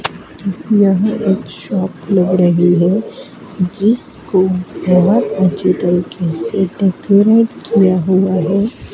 यह एक शॉप लग रही है जिसको बहोत अच्छी तरीके से डेकोरेट किया हुआ है।